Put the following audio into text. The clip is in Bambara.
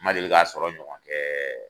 Ma deli k'a sɔrɔ ɲɔgɔn kɛɛɛ